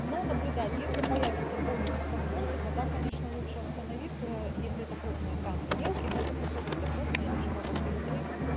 но наблюдать если появится боль и дискомфорт и тогда конечно лучше остановиться ээ если это крупные камни мелкие могут выходить а крупные они же могут перекрыть